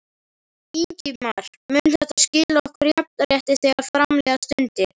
Ingimar: Mun þetta skila okkur jafnrétti þegar fram líða stundir?